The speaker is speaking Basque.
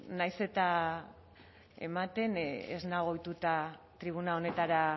nahiz eta ematen ez nago ohituta tribuna honetara